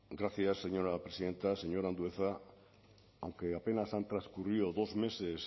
gracias señora presidenta señor andueza aunque apenas han transcurrido dos meses